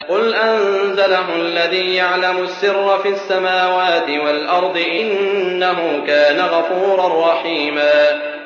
قُلْ أَنزَلَهُ الَّذِي يَعْلَمُ السِّرَّ فِي السَّمَاوَاتِ وَالْأَرْضِ ۚ إِنَّهُ كَانَ غَفُورًا رَّحِيمًا